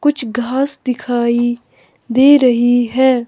कुछ घास दिखाई दे रही है।